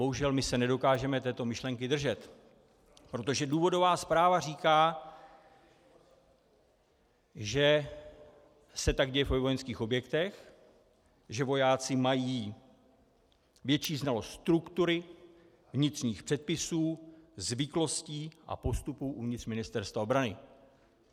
Bohužel my se nedokážeme této myšlenky držet, protože důvodová zpráva říká, že se tak děje ve vojenských objektech, že vojáci mají větší znalost struktury, vnitřních předpisů, zvyklostí a postupů uvnitř Ministerstva obrany.